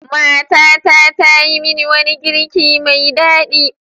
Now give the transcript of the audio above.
Matata ta yi min wani girki mai daɗi.